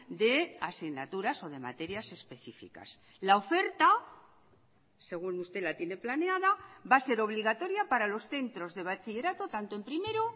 de asignaturas o de materias específicas la oferta según usted la tiene planeada va a ser obligatoria para los centros de bachillerato tanto en primero